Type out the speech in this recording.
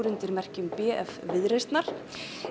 undir merkjum b f Viðreisnar